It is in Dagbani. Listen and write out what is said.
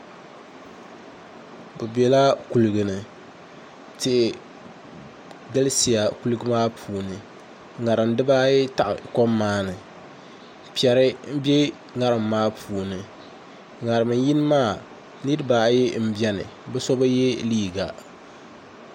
Bi biɛla kuligi ni tihi galisiya kuligi maa puuni ŋarim dibaayi taɣi kom maa ni piɛri n bɛ ŋarim maa puuni ŋarim yini maa niraba ayi n biɛni bi so bi yɛ liiga